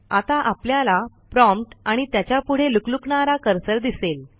आता आपल्याला प्रॉम्प्ट आणि त्याच्यापुढे लुकलुकणारा कर्सर दिसेल